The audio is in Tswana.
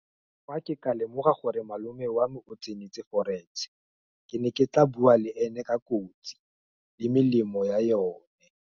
Fa ke ka lemoga gore malome wa me o tsentse forex-e, ke ne ke tla bua le ene ka kotsi, le melemo ya yone.